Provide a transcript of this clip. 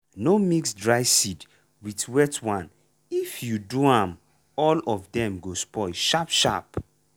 no mix dry seed with wet one if you do am all of dem go spoil sharp sharp.